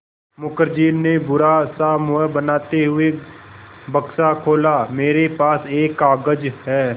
मुखर्जी ने बुरा सा मुँह बनाते हुए बक्सा खोला मेरे पास एक कागज़ है